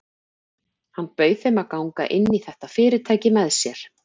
Hann bauð þeim að ganga inn í þetta fyrirtæki með sér.